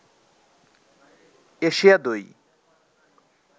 Asia দই